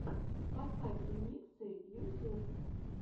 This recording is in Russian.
поставь ремиксы ютюб